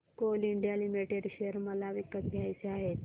Coal India limited share मला विकत घ्यायचे आहेत